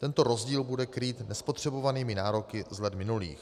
Tento rozdíl bude krýt nespotřebovanými nároky z let minulých.